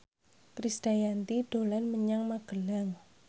Krisdayanti dolan menyang Magelang